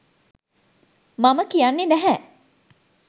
මම කියන්නේ නැහැ.